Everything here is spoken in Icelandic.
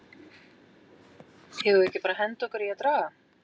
Eigum við ekki bara að henda okkur í að draga??